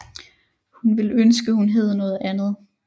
Hun ville ønske hun hed noget andet